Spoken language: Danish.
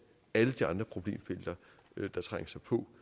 alle de andre problemfelter der trænger sig på